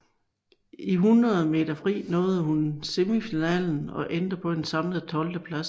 I 100 meter fri nåede hun semifinalen og endte på en samlet tolvteplads